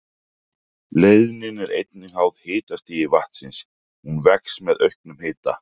Leiðnin er einnig háð hitastigi vatnsins, hún vex með auknum hita.